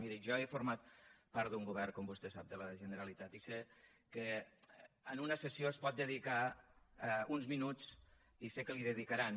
miri jo he format part d’un govern com vostè sap de la generalitat i sé que en una sessió s’hi pot dedicar uns minuts i sé que els hi dedicaran